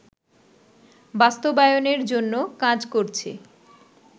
বাস্তবায়নের জন্য কাজ করছে